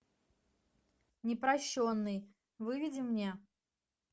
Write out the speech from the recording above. непрощенный выведи мне